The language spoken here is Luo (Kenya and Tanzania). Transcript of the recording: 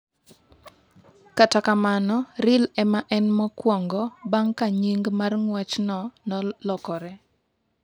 Kata kamano, Real e ma en mokwongo bang’ ka nying’ mar ng’wechno nolokore.